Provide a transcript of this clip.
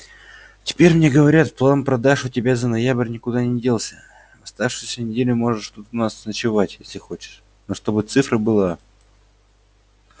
теперь мне говорят план продаж у тебя за ноябрь никуда не делся в оставшуюся неделю можешь тут у нас ночевать если хочешь но чтобы цифра была